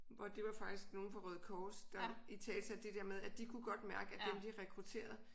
Hvor det var faktisk nogle fra Røde Kors der italesatte det dér med at de kunne godt mærke at dem de rekrutterede